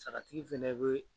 Sagatigi fɛnɛ bɛ